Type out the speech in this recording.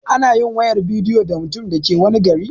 Anayin wayar bidiyo da mutumin da ke wani garin